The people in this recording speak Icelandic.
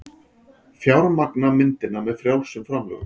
Fjármagna myndina með frjálsum framlögum